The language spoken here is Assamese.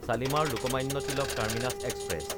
শালিমাৰ–লোকমান্য তিলক টাৰ্মিনাছ এক্সপ্ৰেছ